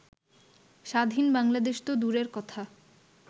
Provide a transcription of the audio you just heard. স্বাধীন বাংলাদেশ তো দূরের কথা